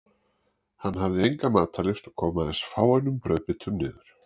Hann hafði enga matarlyst og kom aðeins fáeinum brauðbitum niður.